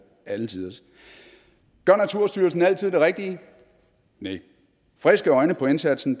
alle tiders gør naturstyrelsen altid det rigtige nej friske øjne på indsatsen